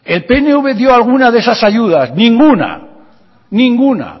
el pnv dio alguna de esas ayudas ninguna